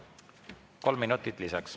Kolm minutit lisaks.